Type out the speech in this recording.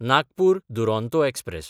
Nagpur Duronto express